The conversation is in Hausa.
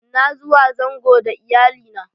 N'na zuwa zango da Iyalli na.